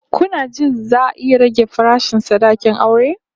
Kuna jin za'a rage farashin sadakin aure?